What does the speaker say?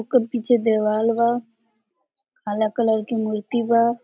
ओकर पीछे देवाल वा काला कलर की मूर्ति वा।